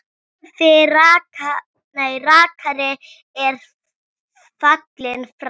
Torfi rakari er fallinn frá.